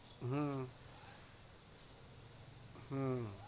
হম হম